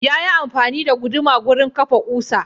Yayi amfani da guduma wurin kafa kusa.